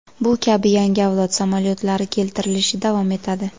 Bu kabi yangi avlod samolyotlari keltirilishi davom etadi.